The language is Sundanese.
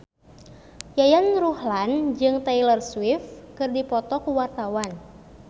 Yayan Ruhlan jeung Taylor Swift keur dipoto ku wartawan